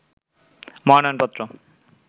মনোনয়ন পত্র